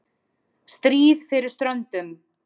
STRÍÐ FYRIR STRÖNDUM